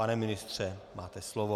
Pane ministře, máte slovo.